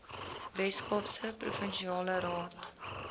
weskaapse provinsiale raad